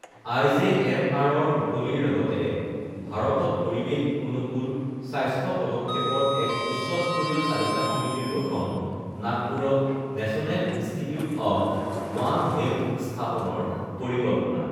আইজেএমআৰৰ মুকলিৰ লগতে ভাৰতত পৰিবেশ অনুকূল স্বাস্থ্য পদক্ষেপৰ এক উচ্চস্তৰীয় চালিকা সমিতিৰ গঠন, নাগপুৰত national institute of one health স্থাপনৰ পৰিকল্পনা